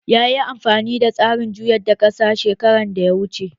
Yayi amfani da tsarin juyar da ƙasa shekaran da ya wuce